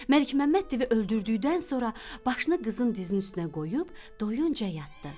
Məlikməmməd divi öldürdükdən sonra başını qızın dizinin üstünə qoyub doyuncan yatdı.